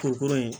Kurukurun ye